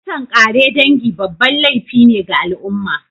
Kisan kare dangi babban laify ne ga al'umma